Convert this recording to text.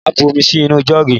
Màá bu omi sí inú jọ́ọ̀gì